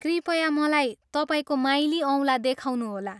कृपया मलाई तपाईँको माइली औँला देखाउनुहोला।